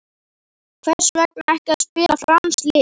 Hvers vegna ekki að spila franskt lið?